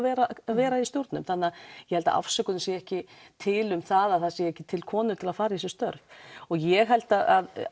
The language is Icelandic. vera vera í stjórnum þannig að ég held að afsökunin sé ekki til um það að það séu ekki til konur til að fara í þessi störf og ég held að